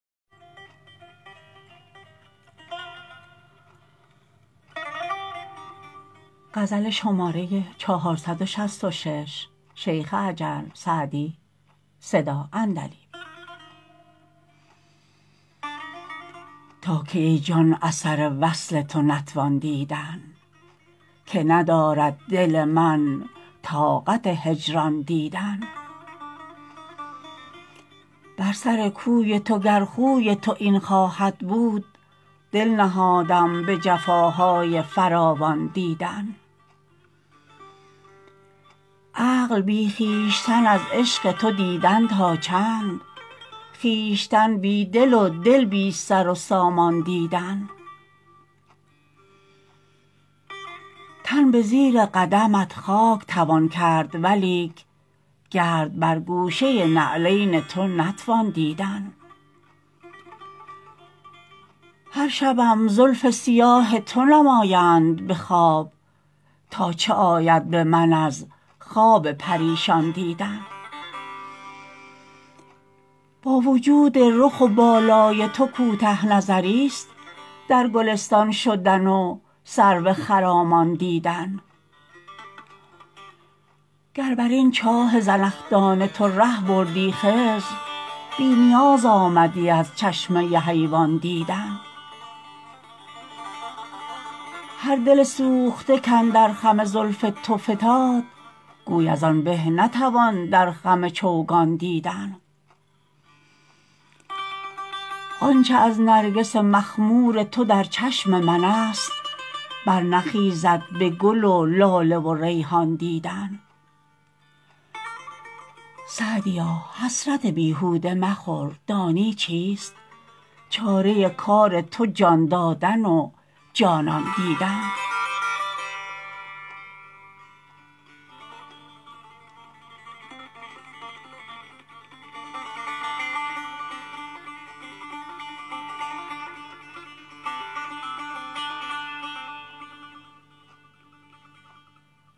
تا کی ای جان اثر وصل تو نتوان دیدن که ندارد دل من طاقت هجران دیدن بر سر کوی تو گر خوی تو این خواهد بود دل نهادم به جفاهای فراوان دیدن عقل بی خویشتن از عشق تو دیدن تا چند خویشتن بی دل و دل بی سر و سامان دیدن تن به زیر قدمت خاک توان کرد ولیک گرد بر گوشه نعلین تو نتوان دیدن هر شبم زلف سیاه تو نمایند به خواب تا چه آید به من از خواب پریشان دیدن با وجود رخ و بالای تو کوته نظریست در گلستان شدن و سرو خرامان دیدن گر بر این چاه زنخدان تو ره بردی خضر بی نیاز آمدی از چشمه حیوان دیدن هر دل سوخته کاندر خم زلف تو فتاد گوی از آن به نتوان در خم چوگان دیدن آن چه از نرگس مخمور تو در چشم من است برنخیزد به گل و لاله و ریحان دیدن سعدیا حسرت بیهوده مخور دانی چیست چاره کار تو جان دادن و جانان دیدن